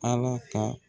Ala ka